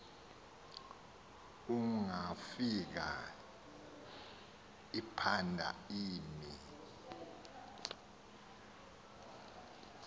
ongafika iphanda imi